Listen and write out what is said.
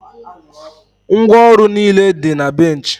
ngwaọrụ niile dị na bench